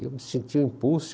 Eu me senti um impulso.